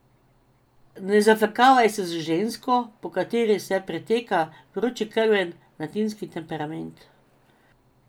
Ne zafrkavaj se z žensko, po kateri se pretaka vročekrven latinski temperament.